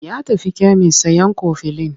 Ya tafi kemis sayan kofilin.